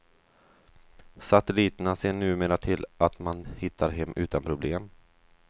Satelliterna ser numera till att man hittar hem utan problem.